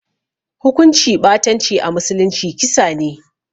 Hukunci ɓatanci a musulunci kisa ne